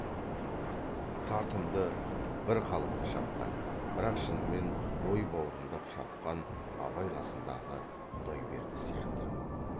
тартымды бір қалыпты шапқан бірақ шынымен ой баурымдап шапқан абай қасындағы құдайберді сияқты